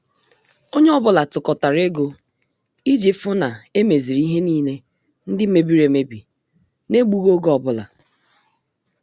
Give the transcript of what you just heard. Onye ọ bụla tukotara ego iji fu na emeziri ihe niile ndị mebiri emebi n' egbughi oge ọbụla